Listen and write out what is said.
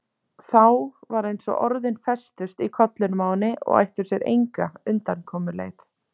Þá var eins og orðin festust í kollinum á henni og ættu sér enga undankomuleið.